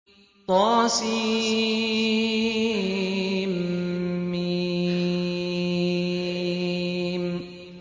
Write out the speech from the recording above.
طسم